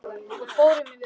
Og fórum í vörn.